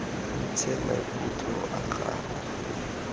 o ntshe maikutlo a gago